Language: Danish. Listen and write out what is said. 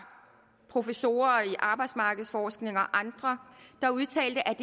professorer i arbejdsmarkedsforhold og andre der udtalte at